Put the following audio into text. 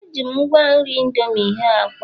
Eji m ngwa nri indomie hee akwa